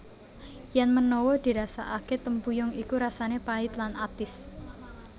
Yèn menawa dirasakakè tempuyung iku rasanè pait lan atis